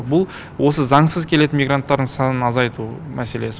бұл осы заңсыз келетін мигранттардың санын азайту мәселесі